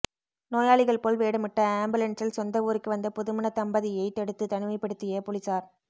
நோயாளிகள் போல் வேடமிட்டு ஆம்புலன்சில் சொந்த ஊருக்கு வந்த புதுமண தம்பதியை தடுத்து தனிமைப்படுத்திய போலீசார்